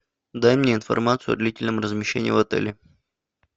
дай мне информацию о длительном размещении в отеле